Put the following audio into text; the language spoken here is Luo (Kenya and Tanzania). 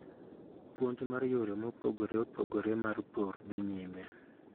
Puonj mar yore mopogore opogore mar pur dhii nyime.